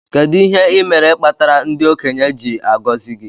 Kedu ihe imere kpatara ndi okenye ji agozi gi?